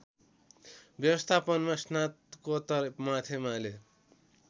व्यवस्थापनमा स्नातकोत्तर माथेमाले